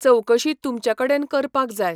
चवकशी तुमचे कडेन करपाक जाय.